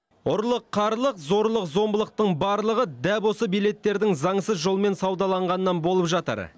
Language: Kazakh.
ұрлық қарлық зорлық зомбылықтың барлығы дәп осы билеттердің заңсыз жолмен саудаланғанынан болып жатыр